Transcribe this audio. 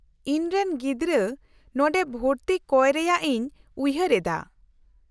-ᱤᱧ ᱨᱮᱱ ᱜᱤᱫᱽᱨᱟᱹ ᱱᱚᱰᱮ ᱵᱷᱚᱨᱛᱤ ᱠᱚᱭ ᱨᱮᱭᱟᱜ ᱤᱧ ᱩᱭᱦᱟᱹᱨ ᱮᱫᱟ ᱾